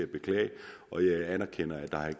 beklage og jeg anerkender at